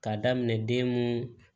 K'a daminɛ den mun